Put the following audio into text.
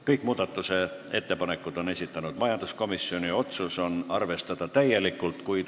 Kõik need on esitanud majanduskomisjon ja otsus on arvestada neid täielikult.